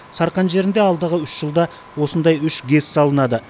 сарқан жерінде алдағы үш жылда осындай үш гэс салынады